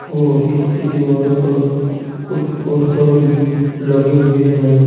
और इसके दीवारों पर कुछ पोस्टर भी लगे हुए है।